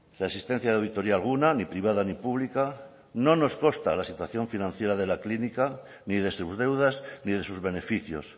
la existencia de auditoría alguna ni privada ni pública no nos consta la situación financiera de la clínica ni de sus deudas ni de sus beneficios